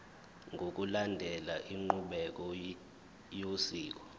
ngokulandela inqubo yosiko